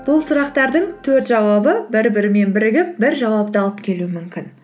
бұл сұрақтардың төрт жауабы бір бірімен бірігіп бір жауапты алып келуі мүмкін